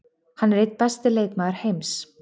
Hann er einn besti leikmaður heims.